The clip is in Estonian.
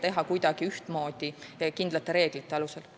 Seda kompenseerimist tuleb teha ühtmoodi ja kindlate reeglite alusel.